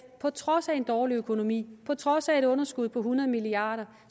på trods af en dårlig økonomi på trods af et underskud på hundrede milliard